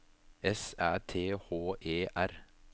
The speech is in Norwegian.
S Æ T H E R